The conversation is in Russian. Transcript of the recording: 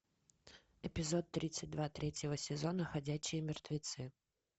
эпизод тридцать два третьего сезона ходячие мертвецы